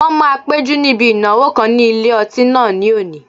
Wọ́n máa péjú níbi ìnáwó kan ní ilé ọtí náà ní òní